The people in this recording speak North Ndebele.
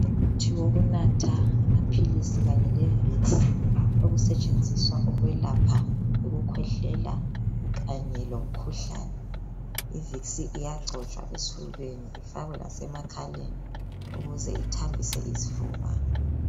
Umuthi wokunatha amaphilisi kanye levicks okusetshenziswa ukwelapha ukukhwehlela kanye lomkhuhlane, ivicks iyagcotshwa esifubeni ifakwe lasemakhaleni ukuze ithambise isifuba.